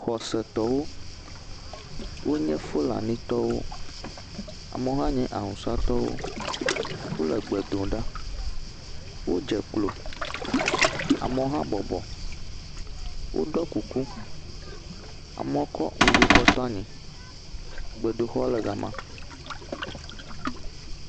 Xɔsetɔwo wonye Fulanitɔwo. Amewo hã nye awusatɔwo wole gbe dom ɖa. wodze klo. Amewo hã bɔbɔ. Woɖɔ kuku. Amewo kɔ ŋgo kɔ to anyi. Gbedoxɔ le ga ma.